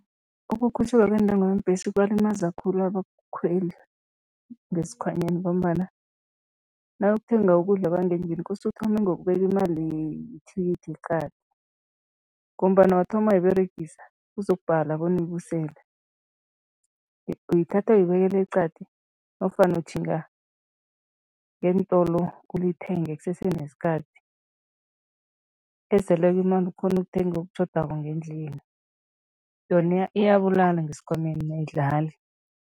Ukukhutjhulwa kweentengo yeembhesi kubalimaza khulu abakhweli ngesikhwanyeni ngombana nawuyokuthenga ukudla kwangendlini kose uthome ngokubeka imali yethikithi eqadi ngombana wathoma wayiberegisa kuzokubhala bona uyibusele. Uyithatha uyibekela eqadi nofana utjhinga ngeentolo ulithenge kusese nesikhathi, eseleko ukghone ukuthenga okutjhodako ngendlini. Yona iyabulala ngesikhwameni, ayidlali.